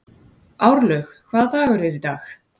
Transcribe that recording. Árlaug, hvaða dagur er í dag?